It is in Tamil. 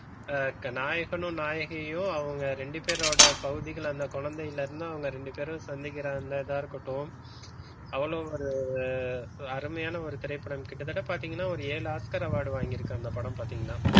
நாயகனும் நாயகியும் அவங்க ரெண்டு பேரோட பகுதிகள்ள அந்த குழந்தையிலிருந்து அவங்க ரெண்டு பேரும் சந்திக்கிறா இத இருக்கட்டும் அவ்வளவு ஒரு அருமையான ஒரு திரைப்படம் கிட்டத்தட்ட பாத்தீங்கன்னா ஒரு ஏழு ஆஸ்க்கர் award வாங்கி இருக்கு அந்த படம் பாத்தீங்கன்னா,